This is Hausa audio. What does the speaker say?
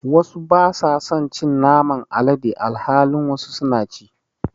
wasu basa son cin Naman alade alhalin wasu suna ci.